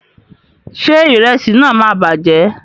Ṣé ìrẹsì náà máa bàjẹ́?